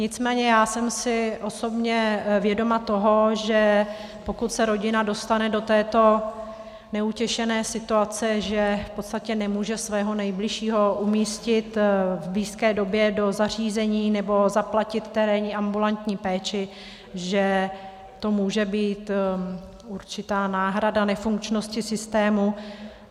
Nicméně já jsem si osobně vědoma toho, že pokud se rodina dostane do této neutěšené situace, že v podstatě nemůže svého nejbližšího umístit v blízké době do zařízení nebo zaplatit terénní ambulantní péči, že to může být určitá náhrada nefunkčnosti systému.